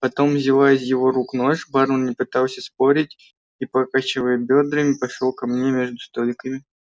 потом взяла из его рук нож бармен не пытался спорить и покачивая бёдрами пошла ко мне между столиками